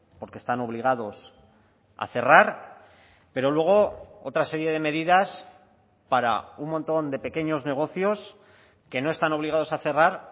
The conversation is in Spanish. porque están obligados a cerrar pero luego otra serie de medidas para un montón de pequeños negocios que no están obligados a cerrar